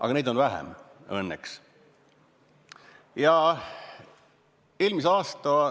Aga neid on õnneks vähem.